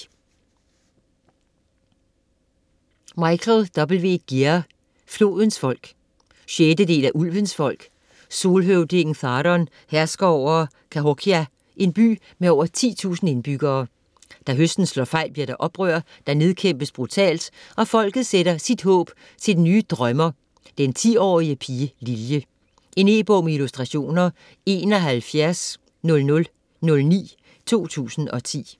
Gear, W. Michael: Flodens folk 6. del af Ulvens folk. Solhøvdingen Tharon hersker over Cahokia, en by med over 10.000 indbyggere. Da høsten slår fejl, bliver der oprør, der nedkæmpes brutalt, og folket sætter sit håb til den nye Drømmer, den 10-årige pige Lilje. E-bog med illustrationer 710009 2010.